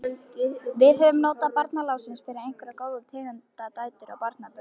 Við höfum notið barnaláns, eignast góðar tengdadætur og barnabörn.